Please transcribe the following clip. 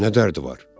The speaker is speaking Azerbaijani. Nə dərdi var?